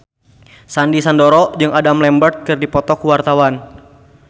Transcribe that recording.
Sandy Sandoro jeung Adam Lambert keur dipoto ku wartawan